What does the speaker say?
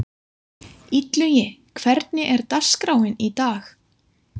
Illugi, hvernig er dagskráin í dag?